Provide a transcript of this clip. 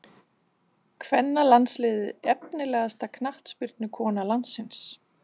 Kvennalandsliðið Efnilegasta knattspyrnukona landsins?